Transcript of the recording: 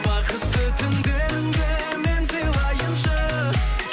бақытты түндеріңді мен сыйлайыншы